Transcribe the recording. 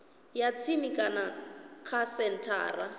ya tsini kana kha senthara